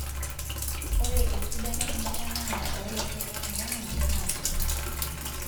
Ore esidano enkitanaata olasho noong'otonye naa kuna;